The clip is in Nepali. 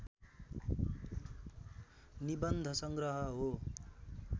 निबन्धसङ्ग्रह हो।